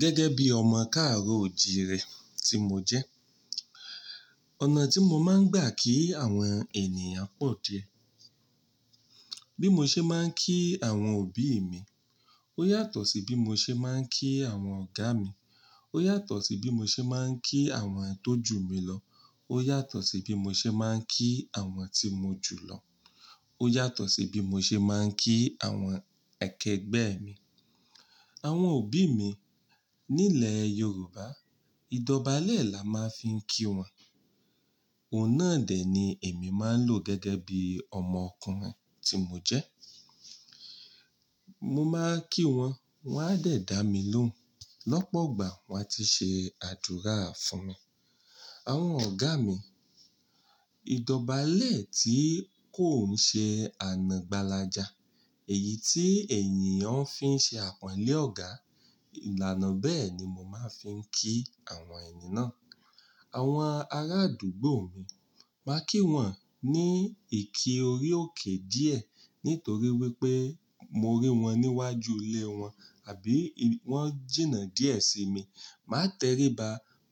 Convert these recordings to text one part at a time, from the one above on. Gẹ́gẹ́ bí ọmọ káàró òjì rẹ tí mo jẹ́, ọ̀nà tí mo máa ń gbà kí àwọn ènìyàn pọ̀ diẹ. Bí mo ṣe máa ń kí àwọn òbí mi, ó yàtọ̀ sí bí mo ṣe máa ń kí àwọn ọ̀gá mi, ó yàtọ̀ sí bí mo ṣe máa ń kí àwọn tó jù mi lọ, ó yàtọ̀ sí bí mo ṣe máa ń kí àwọn tí mo jù lọ, ó yàtọ̀ sí bí mo ṣe máa ń kí àwọn ẹkẹgbẹ́ mi. Àwọn òbí mi nílẹ̀ Yorùbá, ìdọ̀bálẹ̀ là máa ń fi kí wọn. Ọ̀nà dè ni èmi máa ń lò gẹ́gẹ́ bí ọmọ ọkùnrin tí mo jẹ́. Mo máa ń kí wọn, wọ́n á dẹ̀ dà mí lóhùn. Lọ́pọ̀gbà wọ́n á ti ṣe àdúrà fún mi. Àwọn ọ̀gá mi, ìdọ̀bálẹ̀ tí kò ń ṣe ànàgbálàjà, èyí tí ènìyàn fi ń ṣe àpọ́nlé ọ̀gá, ìlànà bẹ́ẹ̀ ni mo máa ń fi ń kí àwọn ènì náà. Àwọn arádùgbò mi, màá kí wọn ní ìkí orí òkè díẹ̀ nítorí wípé mo rí wọn níwájú ilé wọn àbí wọ́n jìnnà díẹ̀ sí mi. Màá tẹríba,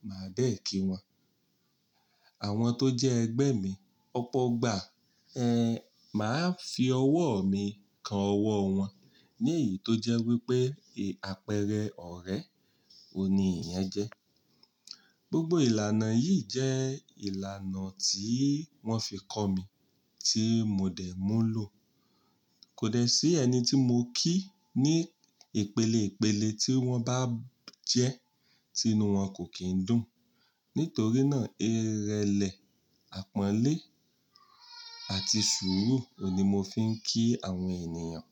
màá dẹ̀ kí wọn. Àwọn tó jẹ́ ẹgbẹ́ mi, ọ̀pọ̀gbà, ẹ́, màá fi ọwọ́ mi kan ọwọ́ wọn, nìyí tó jẹ́ wípé, ẹ́, àpẹẹrẹ ọ̀rẹ́ wo ni èèyàn jẹ́. Gbogbo ìlànà yìí jẹ́ ìlànà tí wọ́n fi kọ́ mi tí mo dẹ̀ mú lọ. Kò dẹ́ sí ẹni tí mo kí ní ìpele ìpele tí wọ́n bá jẹ́ tí inú wọn kò kín dùn. Nítorí náà, ìrẹlẹ̀, àpọ́nlé àti sùúrù oun ni mo fi ń kí àwọn ènìyàn.